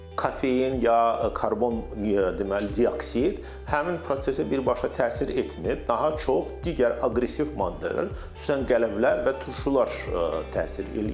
Kofein ya karbon deməli dioksid həmin prosesə birbaşa təsir etmir, daha çox digər aqressiv maddələr, xüsusən qələmlər və turşular təsir edir.